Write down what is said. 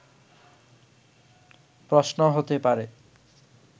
প্রশ্ন হতে পারে